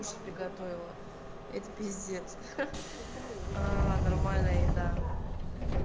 кушать приготовила это пиздец а нормальная еда